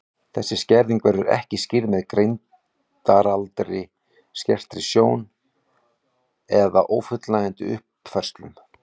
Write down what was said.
Þessi skerðing verður ekki skýrð með greindaraldri, skertri sjón eða ófullnægjandi uppfræðslu.